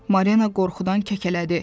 Marina qorxudan kəkələdi.